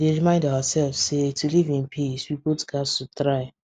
we dey remind ourselves say to live in peace we both gats to try